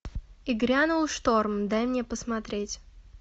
и грянул шторм дай мне посмотреть